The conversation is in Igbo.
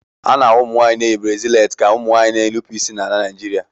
A na-ahụ ụmụnwaanyị na-eyi brasịleti ka ụmụ nwanyị na-enupụ isi na ala Naịjirịa.